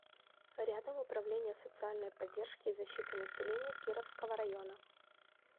рядом управление социальной поддержки и защиты населения кировского района